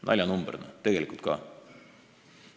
Naljanumber, tegelikult ka.